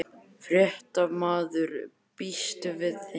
Fréttamaður: Býstu við þeim?